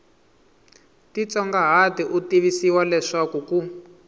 titsongahata u tivisiwa leswaku ku